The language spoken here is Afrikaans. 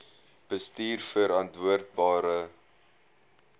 bestuurverantwoordbare